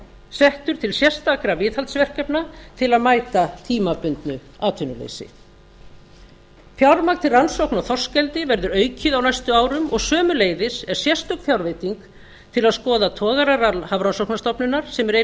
settur til sérstakra viðhaldsverkefna til að mæta tímabundnu atvinnuleysi fjármagn til rannsókna á þorskeldi verður aukið á næstu árum og sömuleiðis er sérstök fjárveiting til að skoða togararall hafrannsóknastofnunar sem er ein